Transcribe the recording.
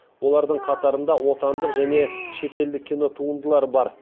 олардың қатарында отандық және шетелдік кинотуындылар бар